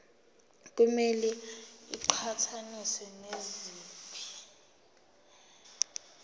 kumele iqhathaniswe naziphi